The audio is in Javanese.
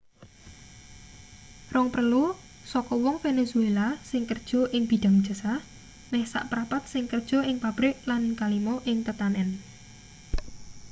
rong prelu saka wong venezuela sing kerja ing bidhang jasa meh saprapat sing kerja ing pabrik lan kalima ing tetanen